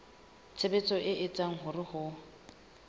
tshebetso e etsang hore ho